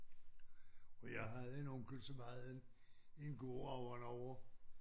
Og jeg havde en onkel som ejede en en gård ovre derovre